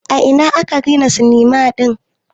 A ina aka gina sinima din?